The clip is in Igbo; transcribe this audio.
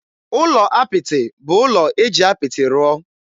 Ụlọ apịtị bụ ụlọ e ji apịtị rụọ.